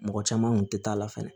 Mɔgɔ caman kun tɛ taa la fɛnɛ